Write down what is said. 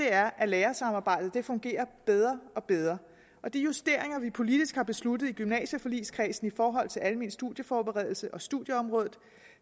er at lærersamarbejdet fungerer bedre og bedre og de justeringer vi politisk har besluttet i gymnasieforligskredsen i forhold til almen studieforberedelse og studieområdet